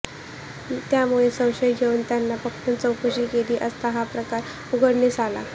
त्यामुळे संशय येऊन त्यांना पकडून चौकशी केली असता हा प्रकार उघडकीस आला